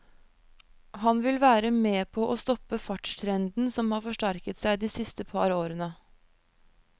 Han vil være med på å stoppe fartstrenden som har forsterket seg de siste par årene.